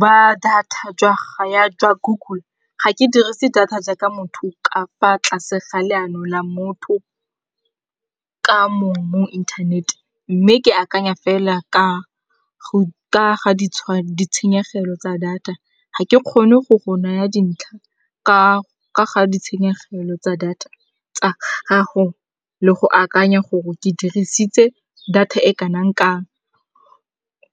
ba data jwa Google, ga ke dirise data jaaka motho ka fa tlase ga leano la motho ka mong mo internet. Mme ke akanya fela ka ga ditshenyegelo tsa data. Ga ke kgone go go naya dintlha ka ga ditshenyegelo tsa data tsa gago le go akanya gore ke dirisitse data e kanang-kang